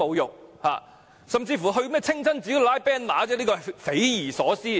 有些人甚至到清真寺拉橫額，真是匪夷所思。